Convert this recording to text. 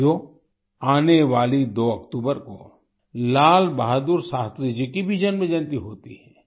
साथियो आने वाली 2 अक्टूबर को लाल बहादुर शास्त्री जी की भी जन्मजयंती होती है